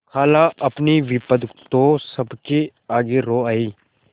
खालाअपनी विपद तो सबके आगे रो आयी